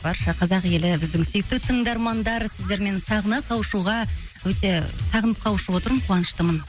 барша қазақ елі біздің сүйікті тыңдармандар сіздермен сағына қауышуға өте сағынып қауышып отырмын қуаныштымын